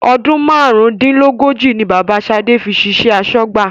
Ọdún márùn-ún-dín-lógójì ni Bàbá shade fi ṣiṣẹ́ asọ́gbà